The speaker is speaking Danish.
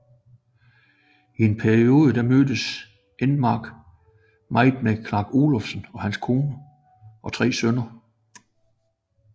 I en periode mødtes Enmark meget med Clark Olofsson og hans kone og tre sønner